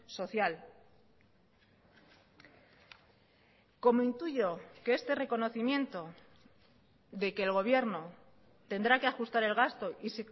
social como intuyo que este reconocimiento de que el gobierno tendrá que ajustar el gasto y